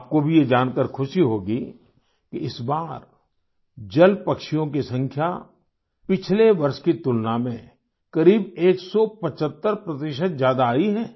आपको भी ये जानकार खुशी होगी कि इस बार जलपक्षियों की संख्या पिछले वर्ष की तुलना में करीब एकसौ पिचहत्तर 175 प्रतिशत ज्यादा आई है